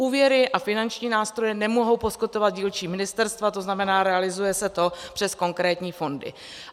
Úvěry a finanční nástroje nemohou poskytovat dílčí ministerstva, to znamená, realizuje se to přes konkrétní fondy.